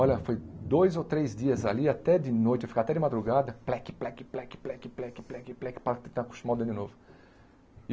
Olha, foi dois ou três dias ali, até de noite, eu ficava até de madrugada, pleque, pleque, pleque, pleque, pleque pleque pleque para tentar acostumar o dedo de novo.